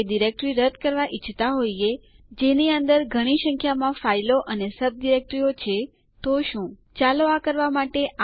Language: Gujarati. અને ડીયુ આદેશ કેટલી જગ્યા ફાઇલ એ લીધેલ છે તે પર રીપોર્ટ આપે છે